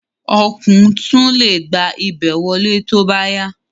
Ọ̀kùn tún le gba ibẹ̀ wọlé tóbá yá